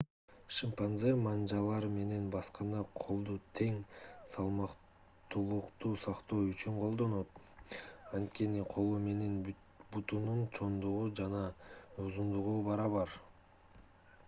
шимпанзе манжалар менен басканда колду тең салмактуулукту сактоо үчүн колдонот анткени колу менен бутунун чоңдугу жана узундугу барабар